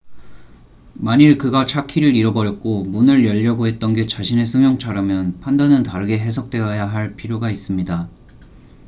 만일 그가 차 키를 잃어버렸고 문을 열려고 했던 게 자신의 승용차라면 판단은 다르게 해석되어야 할 필요가 있습니다